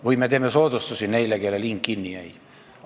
Või me teeme soodustusi neile, kellel hing kinni jäi.